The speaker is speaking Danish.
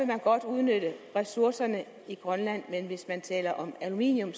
man godt udnytte ressourcerne i grønland men hvis man taler om aluminium